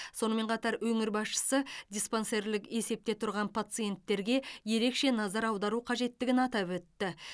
сонымен қатар өңір басшысы диспансерлік есепте тұрған пациенттерге ерекше назар аудару қажеттігін атап өтті